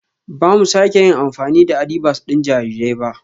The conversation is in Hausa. Ba mu sake yin amfani da adibas ɗin jarirai ba